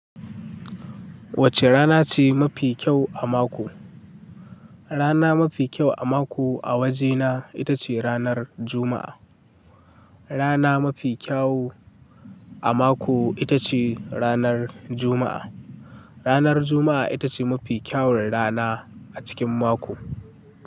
Wacce rana ce mafi kyau a mako? Rana mafi kyau a mako a wajena ita ce ranar Juma'a. Rana mafi kyawu a mako ita ce ranar Juma'a. Ranar Juma'a ita ce mafi kyawun rana a cikin mako.